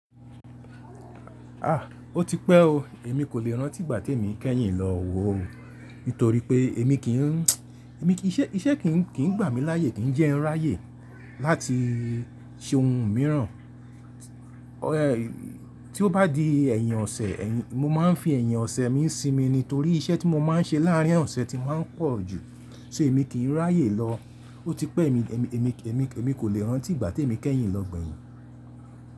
Ah! Ó ti pẹ́ o, èmi kò lè rántí ìgbà tí èmi kẹ́yìn lọ wò ó. Nítorí pé èmi kí ń, èmi kí iṣẹ́, iṣẹ́ kì ń, kì ń gbà mí láyè, kì ń jẹ ẹ́ ráyè láti ṣe ohun mìíràn. Ẹ̀, tí ó bá di ẹ̀yìn ọ̀sẹ̀, èyí, mo máa ń fi ẹ̀yìn ọ̀sẹ̀ mi ń sinmi ni. Torí iṣẹ́ tí mo máa ń ṣe láàárín ọ̀sẹ̀ ti máa ń pọ̀ jù. Ṣé èmi kì í ráyè lọ. Ó ti pẹ́ èmi, èmi, èmi, èmi kò lè rántí ìgbà tí èmi kẹ́yìn lọ gbẹ̀yìn.